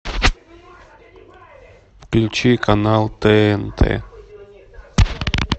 включи канал тнт